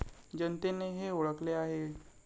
जनतेने हे ओळखले आहे.